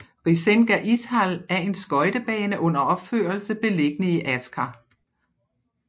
Risenga Ishall er en skøjtebane under opførelse beliggende i Asker